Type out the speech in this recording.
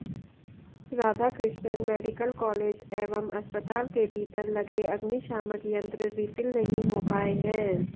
Radhakrishnan medical college एवं अस्पताल के भीतर लगे अग्निशामक यंत्र रीफिल नहीं हो पाए हैं